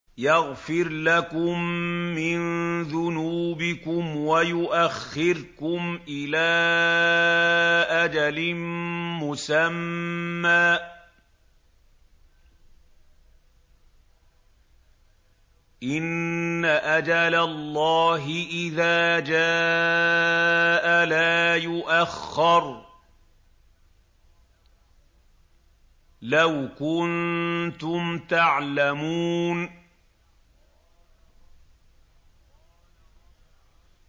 يَغْفِرْ لَكُم مِّن ذُنُوبِكُمْ وَيُؤَخِّرْكُمْ إِلَىٰ أَجَلٍ مُّسَمًّى ۚ إِنَّ أَجَلَ اللَّهِ إِذَا جَاءَ لَا يُؤَخَّرُ ۖ لَوْ كُنتُمْ تَعْلَمُونَ